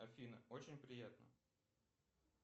афина очень приятно